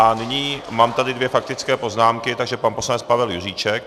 A nyní mám tady dvě faktické poznámky, takže pan poslanec Pavel Juříček.